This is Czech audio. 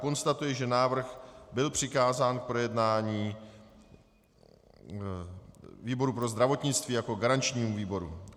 Konstatuji, že návrh byl přikázán k projednání výboru pro zdravotnictví jako garančnímu výboru.